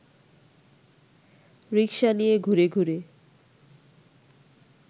রিক্সা নিয়ে ঘুরে ঘুরে